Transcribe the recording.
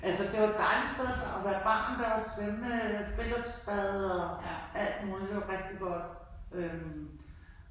Altså det var et dejligt sted at være barn. Der var svømmehal, friluftsbad og alt muligt det var rigtig godt øh